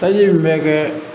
Taji in bɛ kɛ